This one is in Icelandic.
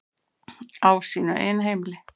Á sínu eigin heimili.